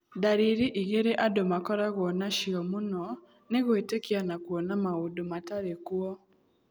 Ndariri igĩrĩ andũ makorago nacio mũno nĩ gwĩtĩkia na kũona maũndũ matarĩ kuo.